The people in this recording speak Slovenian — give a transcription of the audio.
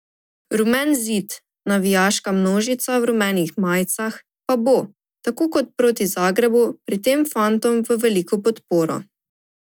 Rumeni zid, navijaška množica v rumenih majicah, pa bo, tako kot proti Zagrebu, pri tem fantom v veliko podporo.